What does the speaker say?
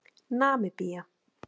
Namibía